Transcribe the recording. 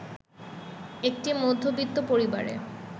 একটি মধ্যবিত্ত পরিবারে